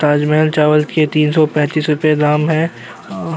ताजमहल चावल के तीन सौ पैतीस रुपए दाम हैं और --